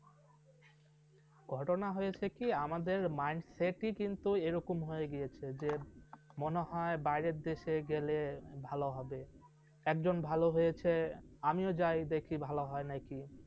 ঘটনা হয়েছে কি আমাদের mind set ই কিন্তু এরকম হয়ে গিয়েছে। যে মনে হয় বাইরের দেশে গেলে ভালো হবে। একজন ভাল হয়েছে আমিও যাই দেখি ভালো হয় নাকি